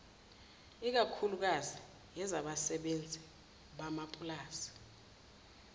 ikakhuklukazi ezabasebenzi bamapulazi